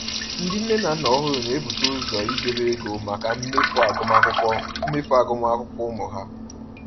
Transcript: Ndị nne na nna ọhụrụ na-ebute ụzọ idobe ego maka mmefu agụmakwụkwọ mmefu agụmakwụkwọ ụmụ ha.